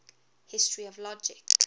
history of logic